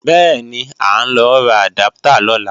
Bẹ́ẹ̀ni, à ń lọ ra àdáptà lọ́la